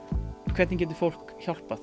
hvernig getur fólk hjálpað